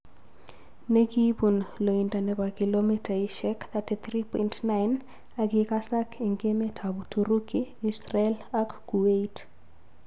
Ne kibun loindo nebo kilomitaisiek 33.9 ak kikasak eng emetab uturuki, Israel ak Kuwait.